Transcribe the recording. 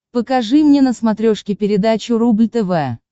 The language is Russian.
покажи мне на смотрешке передачу рубль тв